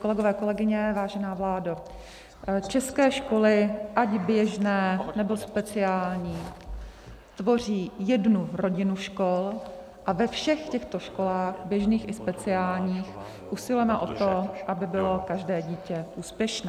Kolegové, kolegyně, vážená vládo, české školy, ať běžné, nebo speciální, tvoří jednu rodinu škol a ve všech těchto školách, běžných i speciálních, usilujeme o to, aby bylo každé dítě úspěšné.